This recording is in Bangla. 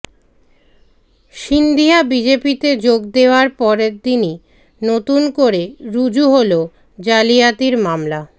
সিন্ধিয়া বিজেপিতে যোগ দেওয়ার পরদিনই নতুন করে রুজু হল জালিয়াতির মামলা